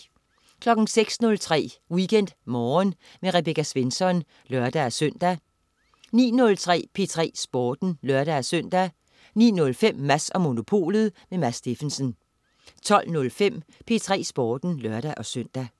06.03 WeekendMorgen med Rebecca Svensson (lør-søn) 09.03 P3 Sporten (lør-søn) 09.05 Mads & Monopolet. Mads Steffensen 12.05 P3 Sporten (lør-søn)